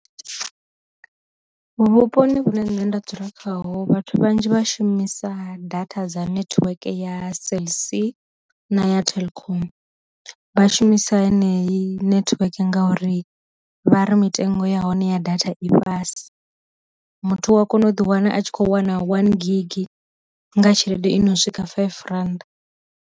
Vhuponi vhune nṋe nda dzula khaho vhathu vhanzhi vhashumisa data dza network ya cellc na ya telkom, vha shumisa heneyi network ngauri vha ri mitengo ya hone ya data i fhasi, muthu wa kona u ḓi wana a tshi kho wana one gigi nga tshelede i no swika five randa.